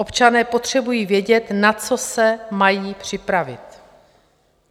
Občané potřebují vědět, na co se mají připravit.